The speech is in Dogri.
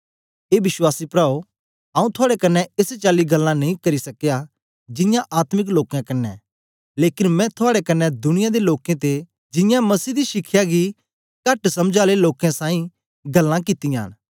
ए विश्वासी प्राओ आऊँ थुआड़े कन्ने एस चाली गल्लां नेई करी सकया जियां आत्मिक लोकें कन्ने लेकन मैं थुआड़े कन्ने दुनिया दे लोकें ते जियां मसीह दी शिखया गी कहट समझ आले लोकें साईं गल्लां कित्तियां न